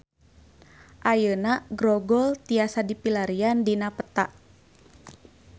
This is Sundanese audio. Ayeuna Grogol tiasa dipilarian dina peta